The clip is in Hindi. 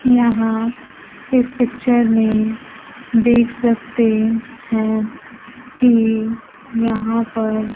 यहां इस पिक्चर में देख सकते हैं कि यहां पर--